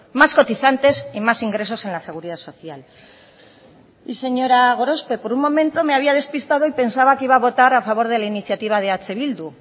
más cotizantes y más ingresos en la seguridad social y señora gorospe por un momento me había despistado y pensaba que iba a votar a favor de la iniciativa de eh bildu